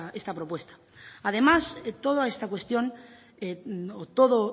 esta propuesta además de toda esta cuestión todo